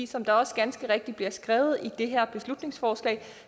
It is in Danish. som der også ganske rigtigt bliver skrevet i det her beslutningsforslag